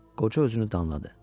Qoca özünü danladı.